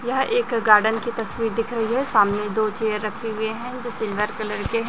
यह एक गार्डन की तस्वीर दिख रही है सामने दो चेयर रखे हुए हैं जो सिल्वर कलर के--